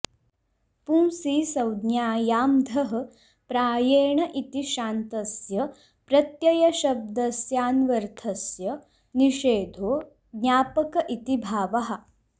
पुंसि संज्ञायां धः प्रायेण इति शान्तस्य प्रत्ययशब्दस्यान्वर्थस्य निषेधो ज्ञापक इति भावः